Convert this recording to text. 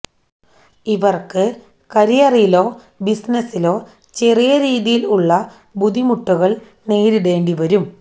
ഇവർക്ക് കരിയറിലോ ബിസിനസിലോ ചെറിയ രീതിയിൽ ഉള്ള ബുദ്ധിമുട്ടുകൾ നേരിടേണ്ടിവരും